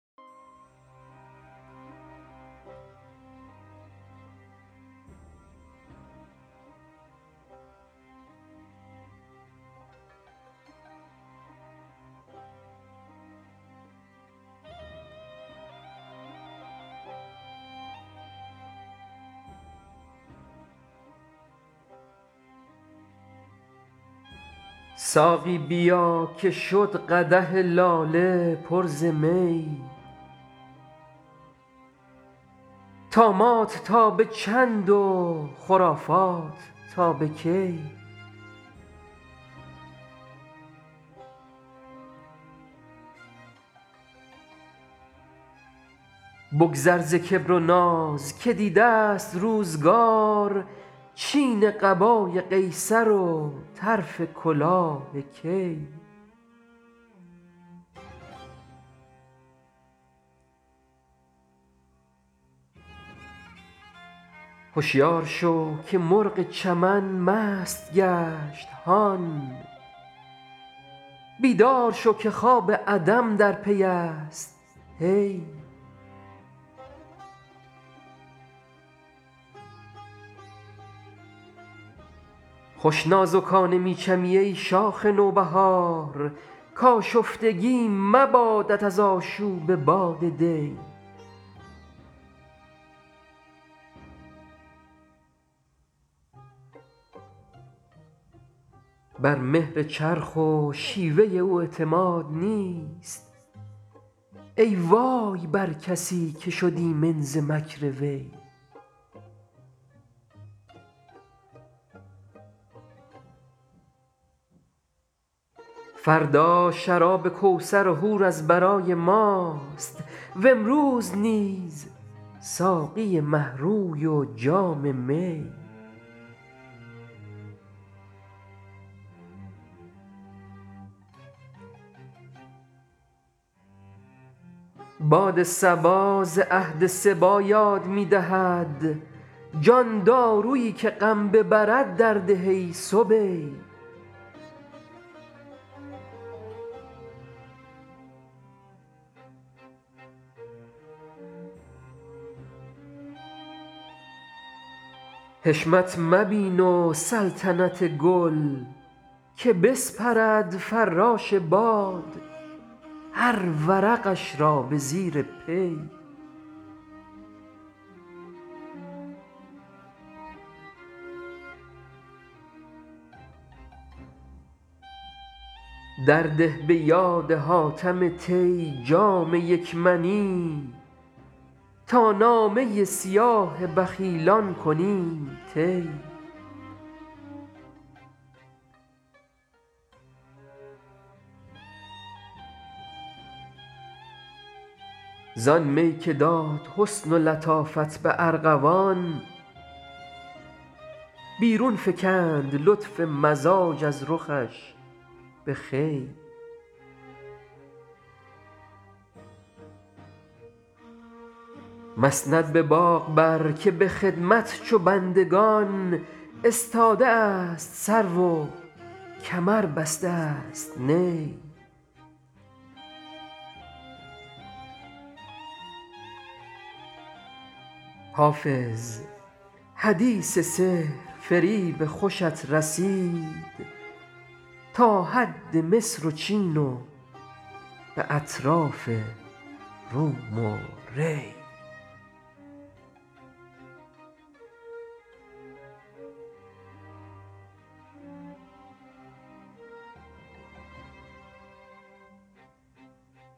ساقی بیا که شد قدح لاله پر ز می طامات تا به چند و خرافات تا به کی بگذر ز کبر و ناز که دیده ست روزگار چین قبای قیصر و طرف کلاه کی هشیار شو که مرغ چمن مست گشت هان بیدار شو که خواب عدم در پی است هی خوش نازکانه می چمی ای شاخ نوبهار کآشفتگی مبادت از آشوب باد دی بر مهر چرخ و شیوه او اعتماد نیست ای وای بر کسی که شد ایمن ز مکر وی فردا شراب کوثر و حور از برای ماست و امروز نیز ساقی مه روی و جام می باد صبا ز عهد صبی یاد می دهد جان دارویی که غم ببرد درده ای صبی حشمت مبین و سلطنت گل که بسپرد فراش باد هر ورقش را به زیر پی درده به یاد حاتم طی جام یک منی تا نامه سیاه بخیلان کنیم طی زآن می که داد حسن و لطافت به ارغوان بیرون فکند لطف مزاج از رخش به خوی مسند به باغ بر که به خدمت چو بندگان استاده است سرو و کمر بسته است نی حافظ حدیث سحرفریب خوشت رسید تا حد مصر و چین و به اطراف روم و ری